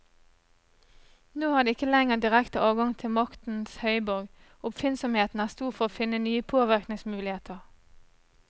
Nå har de ikke lenger direkte adgang til maktens høyborg, og oppfinnsomheten er stor for å finne nye påvirkningsmuligheter.